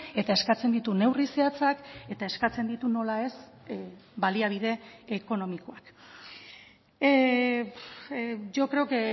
eta eskatzen ditu neurri zehatzak eta eskatzen ditu nola ez baliabide ekonomikoak yo creo que